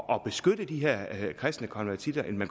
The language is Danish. og beskytte de her kristne konvertitter end